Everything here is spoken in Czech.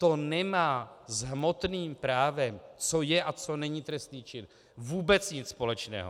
To nemá s hmotným právem, co je a co není trestný čin, vůbec nic společného.